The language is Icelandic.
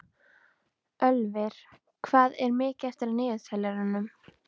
Ölvir, hvað er mikið eftir af niðurteljaranum?